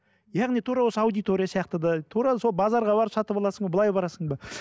яғни тура осы аудитория сияқты да тура сол базарға барып сатып аласың ба былай барасың ба